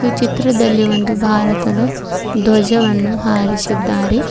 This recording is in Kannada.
ಚಿತ್ರದಲ್ಲಿ ಒಂದು ಭಾರತದ ಧ್ವಜವನ್ನು ಹಾರಿಸಿದ್ದಾರೆ.